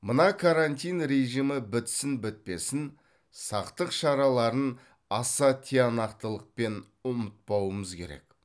мына карантин режимі бітсін бітпесін сақтық шараларын аса тиянақтылықпен ұмытпауымыз керек